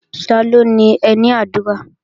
Taló ni ẹní àdúrà?